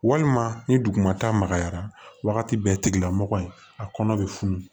Walima ni duguma ta magayara wagati bɛɛ tigila mɔgɔ in a kɔnɔ bɛ funu